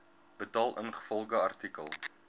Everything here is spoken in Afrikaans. betaal ingevolge artikel